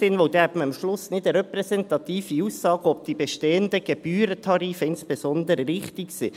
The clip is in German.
Denn dann hätte man am Schluss keine repräsentative Aussage, ob insbesondere die bestehenden Gebührentarife richtig sind.